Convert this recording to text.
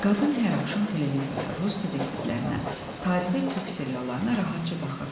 Qadın hər axşam televizorda Rus detektivlərinə, tarixi türk seriallarına rahatca baxırdı.